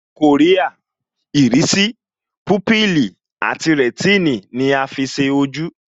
Kòríà, Ìrísì, púpìlì àti rẹ̀tínì ni a fi ṣe ojú